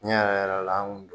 Tiɲɛ yɛrɛ yɛrɛ la an kun